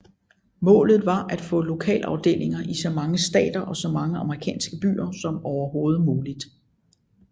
Målet var at få lokalafdelinger i så mange stater og så mange amerikanske byer som overhovedet muligt